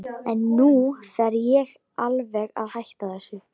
En nú fer ég alveg að hætta þessu.